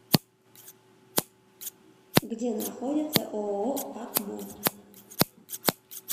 где находится ооо акмо